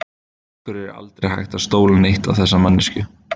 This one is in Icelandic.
Af hverju er aldrei hægt að stóla neitt á þessa manneskju?